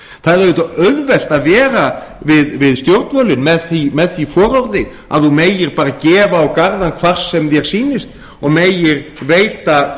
það er auðvitað auðvelt að vera við stjórnvölinn með því fororði að þú gerir bara gefa á garðann hvar sem þér sýnist og gerir veita